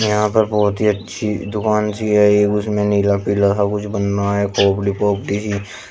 यहां पर बहुत ही अच्छी दुकान सी है एक उसमें नीला पीला सब कुछ बनना है